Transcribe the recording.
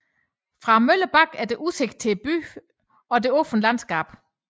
Fra møllebakken er der udsigt til byen og det åbne landskab